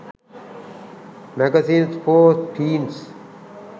magazines for teens